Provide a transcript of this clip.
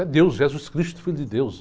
É Deus, Jesus Cristo, filho de Deus.